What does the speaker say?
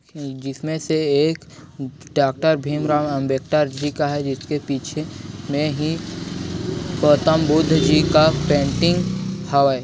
जिसमे से एक डॉ. भीमराव अंबेडकर जी का है जिसके पीछे मे ही गौतम बुद्ध जी का पेंटिंग हावय।